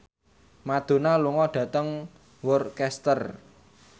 Madonna lunga dhateng Worcester